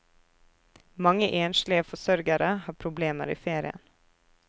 Mange enslige forsørgere har problemer i ferien.